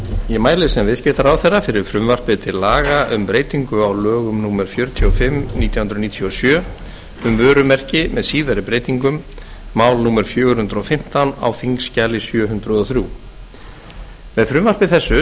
ég mæli sem viðskiptaráðherra fyrir frumvarpi til laga um breytingu á lögum númer fjörutíu og fimm nítján hundruð níutíu og sjö um vörumerki með síðari breytingum mál númer fjögur hundruð og fimmtán á þingskjali sjö hundruð og þrjú með frumvarpi þessu